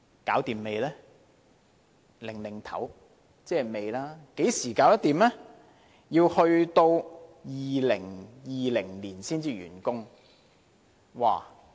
局長在搖頭，即是未完成，要到2020年才完工。